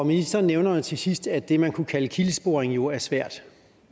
ministeren nævner jo til sidst at det man kunne kalde kildesporing jo er svært